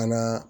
An n'aa